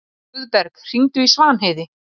Guðberg, hringdu í Svanheiði.